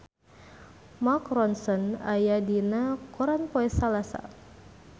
Mark Ronson aya dina koran poe Salasa